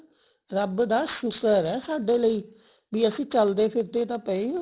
rub ਦਾ ਸ਼ੁਕਰ ਹੈ ਸਾਡੇ ਲਈ ਵੀ ਅਸੀਂ ਚਲਦੇ ਫਿਰਦੇ ਤਾਂ ਪਏ ਹਾਂ